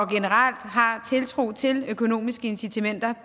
generelt har tiltro til økonomiske incitamenter